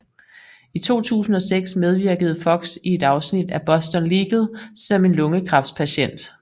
I 2006 medvirkede Fox i et afsnit af Boston Legal som en lungekræftspatient